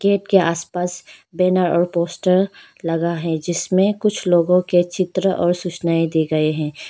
Gate के आसपास banner और पोस्टर लगा है जिसमें कुछ लोगों के चित्र और सूचनाये दी गई हैं।